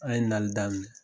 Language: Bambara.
An' ye nali daminɛ